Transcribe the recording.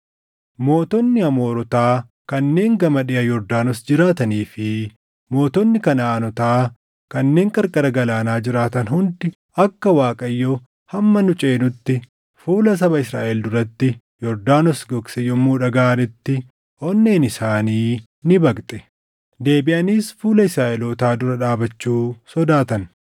Mootonni Amoorotaa kanneen gama dhiʼa Yordaanos jiraatanii fi mootonni Kanaʼaanotaa kanneen qarqara galaanaa jiraatan hundi akka Waaqayyo hamma nu ceenutti fuula saba Israaʼel duratti Yordaanos gogse yommuu dhagaʼanitti onneen isaanii ni baqxe; deebiʼaniis fuula Israaʼelootaa dura dhaabachuu sodaatan.